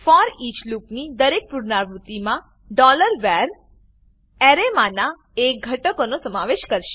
foreach લૂપની દરેક પુનરાવૃત્તિમાં ડોલર વર ડોલર વ્હાર એરેમાનાં એક ઘટકનો સમાવેશ કરશે